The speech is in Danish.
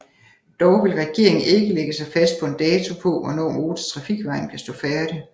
Dog vil regeringen ikke lægge sig fast på en dato på hvornår motortrafikvejen kan stå færdig